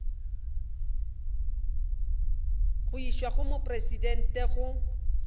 go išwa go mopresidente go